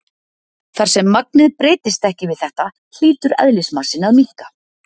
Þar sem magnið breytist ekki við þetta, hlýtur eðlismassinn að minnka.